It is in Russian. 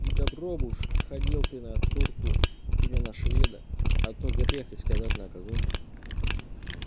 и добро бы уж ходил ты на турку или на шведа а то грех и сказать на кого